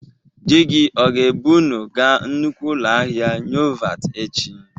Di gi ọ ga-ebụ ụnụ ga nnukwu ụlọ ahịa Nyovat echi?